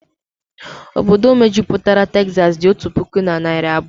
Obodo mejupụtara Tezasi dị otu puku na narị abụọ